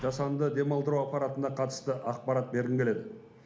жасанды демалдыру аппаратына қатысты ақпарат бергім келеді